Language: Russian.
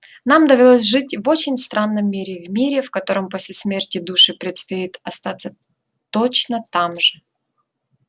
нам довелось жить в очень странном мире в мире в котором после смерти душе предстоит остаться точно там же